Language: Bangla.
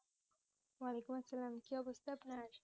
ওয়ালাইকুম আসসালাম কি অবস্থা আপনার